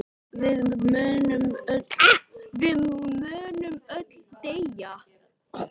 Við munum öll deyja.